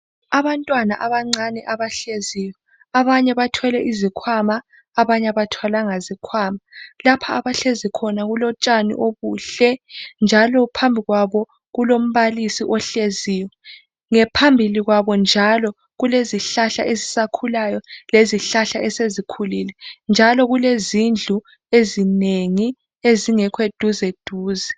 abantwana abancane abahleziyo abanye futhi bathwele izikhwama abanye aba thwalanga zikhwama, lapho abahlezi khona kulo tshani obuhle ,phambi kwabo njalo kulombalisi ohleziyo ,phambi kwabo njalo kulezihlahla ezisakhulayo lezihlahla esezikhulile njalo kulezindlu ezinengi ezingekho duze duze